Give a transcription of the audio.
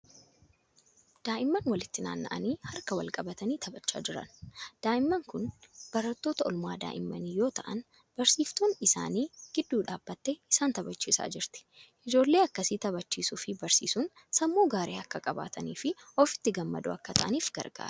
Daa'imman walitti naanna'anii harka wal-qabatanii taphachaa jiran. Daa'imman kun barattoota oolmaa daa'immanii yoo ta'an barsiiftuun isaanii gidduu dhaabattee isaan taphachiisaa jirti. Ijoollee akkasii taphachiisuu fi barsiisuun sammuu gaarii akka qabaatanii fi ofitti gammadoo akka ta'aniif gargaara.